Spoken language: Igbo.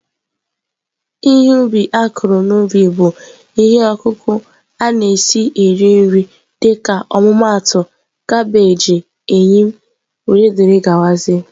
Ihe ubi a kụrụ n'ubi bụ ihe ọkụkụ na-esi eri nri dịka ọmụmaatụ kabeeji, eyịm wdg